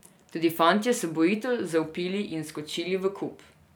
Tudi fantje so bojevito zavpili in skočili v kup.